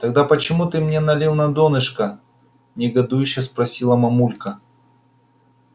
тогда почему ты мне налил на донышко негодующе спросила мамулька